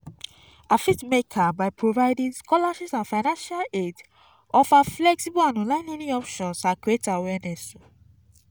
i fit make am by providing scholarships and financial aid offer flexible and online learning options and create awareness.